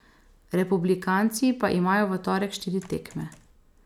Republikanci pa imajo v torek štiri tekme.